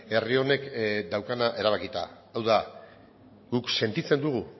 herri honek daukana erabakita hau da guk sentitzen dugu